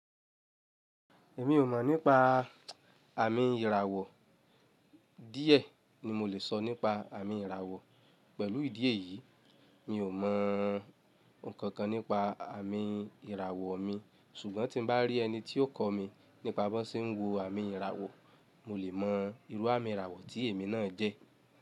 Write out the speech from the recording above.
Èmi ò mọ̀ nípa àmì ìràwọ̀. Díẹ̀ ni mo lè sọ nípa àmì ìràwọ̀. Pẹ̀lú ìdí èyí, mi ò mọ̀ ǹkankan nípa àmì ìràwọ̀ mi, ṣùgbọ́n tín bá rí ẹni tí ó kọ́ mi nípa bó ṣe ń wo àmì ìràwọ̀, mo lè mọ irú àmì ìràwọ̀ tí èmi náà jẹ́.